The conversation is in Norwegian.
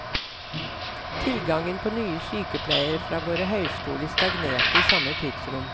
Tilgangen på nye sykepleiere fra våre høyskoler stagnerte i samme tidsrom.